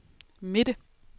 midte